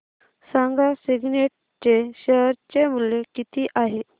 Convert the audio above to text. सांगा सिग्नेट चे शेअर चे मूल्य किती आहे